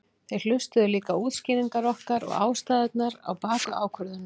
Þeir hlustuðu líka á útskýringar okkar og ástæðurnar á bakvið ákvörðunina.